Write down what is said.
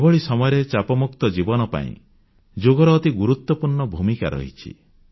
ଏଭଳି ସମୟରେ ଚାପମୁକ୍ତ ଜୀବନ ପାଇଁ ଯୋଗର ଅତି ଗୁରୁତ୍ୱପୂର୍ଣ୍ଣ ଭୂମିକା ରହିଛି